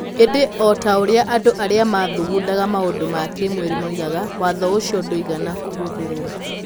Ĩndĩ, o ta ũrĩa andũ arĩa mathugundaga maũndũ ma kĩĩmwĩrĩ moigaga, watho ũcio ndũigana kũhũthĩrũo.